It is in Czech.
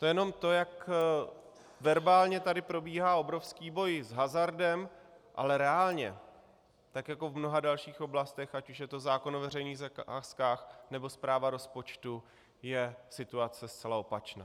To je jenom to, jak verbálně tady probíhá obrovský boj s hazardem, ale reálně, tak jako v mnoha dalších oblastech, ať už je to zákon o veřejných zakázkách, nebo správa rozpočtu, je situace zcela opačná.